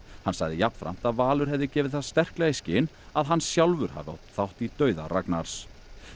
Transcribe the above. hann sagði jafnframt að Valur hafi gefið það sterklega í skyn að hann sjálfur hafi átt þátt í dauða Ragnars